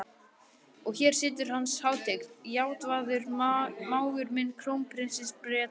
Og hér situr Hans Hátign, Játvarður, mágur minn, krónprins Breta.